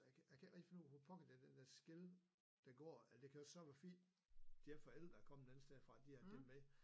Jeg kan jeg kan heller ikke finde ud af hvor pokker det er den der skel det går eller det kan jo så være fordi de forældre der er kommet alle steder fra de så havde dem med